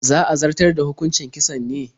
Za a zartar da hukucin kisan ne?